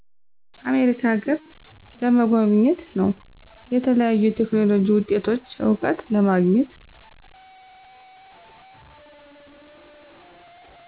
አሜሪካ አገረ ለመጎብኘት ነወ። የተለያዩ የቴክኖሎጂ ውጤቶች እውቀት ለማግኘት።